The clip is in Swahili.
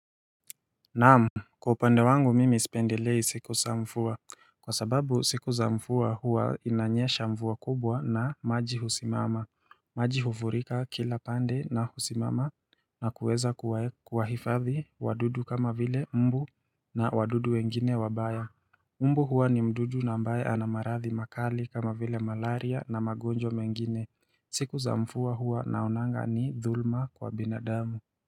Naamu, kwa upande wangu mimi isipendelei siku za mfuwa Kwa sababu siku za mfuwa huwa inanyesha mfuwa kubwa na maji husimama maji hufurika kila pande na husimama na kuweza kuwa hifadhi wadudu kama vile mbu na wadudu wengine wabaya Mbu huwa ni mdudu nambaye ana marathi makali kama vile malaria na magonjwa mengine siku za mfuwa huwa naonanga ni dhulma kwa binadamu.